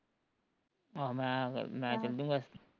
ਆਹੋ ਮੈਂ ਫੇਰ ਮੈਂ ਚਲਜੁਗਾ